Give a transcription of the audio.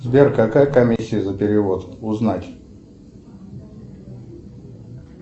сбер какая комиссия за перевод узнать